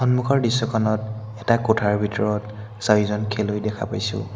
সন্মুখৰ দৃশ্যখনত এটা কোঠাৰ ভিতৰত চাৰিজন খেলুৱৈ দেখা পাইছোঁ।